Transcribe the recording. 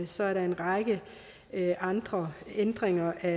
så er der en række andre ændringer af